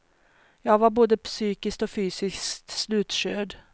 Jag var både psykiskt och fysiskt slutkörd.